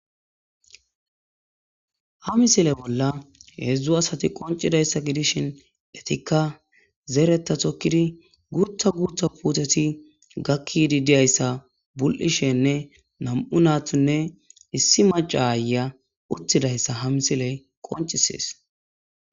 Ha misile bolla heedzdzu asati qoncidayssa gidishin etikka zeeretta tokkidi gurtha gurtha puuteti gakkidi diayssa bul'ishenne nam'u naathunne issi maca aaya uttidayssa ha misiley qoncisees.